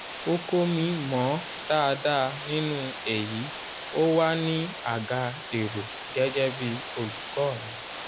oko mi mọ̀ dáadáa nínú èyí ó wà ní àga èrò gẹ́gẹ́ bí olùkọ́ mi.